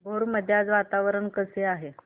भोर मध्ये आज वातावरण कसे आहे